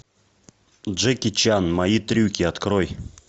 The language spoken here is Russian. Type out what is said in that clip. джеки чан мои трюки открой